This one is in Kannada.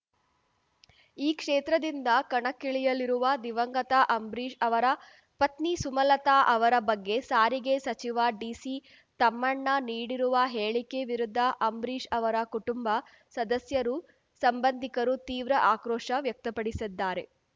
ಈ ಕ್ಷೇತ್ರದಿಂದ ಕಣಕ್ಕಿಳಿಯಲಿರುವ ದಿವಂಗತ ಅಂಬರೀಷ್ ಅವರ ಪತ್ನಿ ಸುಮಲತಾ ಅವರ ಬಗ್ಗೆ ಸಾರಿಗೆ ಸಚಿವ ಡಿಸಿ ತಮ್ಮಣ್ಣ ನೀಡಿರುವ ಹೇಳಿಕೆ ವಿರುದ್ಧ ಅಂಬರೀಷ್ ಅವರ ಕುಟುಂಬ ಸದಸ್ಯರು ಸಂಬಂಧಿಕರು ತೀವ್ರ ಆಕ್ರೋಶ ವ್ಯಕ್ತಪಡಿಸಿದ್ದಾರೆ